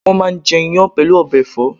wọn máà ń jẹ́ iyán pẹ̀lú ọbẹ̀ ẹ̀fọ́